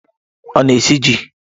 Ọ na-esi ji?